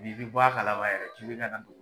N'i be bɔ a kalama yɛrɛ k'i be kana do